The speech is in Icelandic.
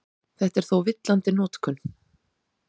Þetta er þó villandi notkun.